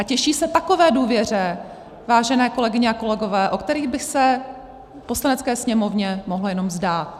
A těší se takové důvěře, vážené kolegyně a kolegové, o které by se Poslanecké sněmovně mohlo jenom zdát.